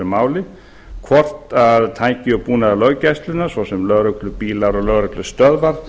verið hefur þriðja verða tæki og búnaður löggæslunnar svo sem lögreglubílar og lögreglustöðvar